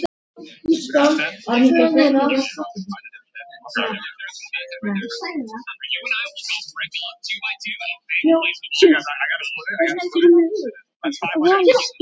Þessa lykt hefur